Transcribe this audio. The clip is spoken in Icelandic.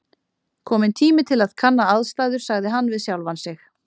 Kominn tími til að kanna aðstæður sagði hann við sjálfan sig.